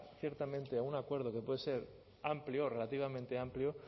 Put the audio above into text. ciertamente a un acuerdo que puede ser amplio relativamente amplio